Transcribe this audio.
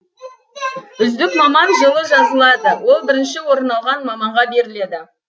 үздік маман жылы жазылады ол бірнші орын алған маманға беріледі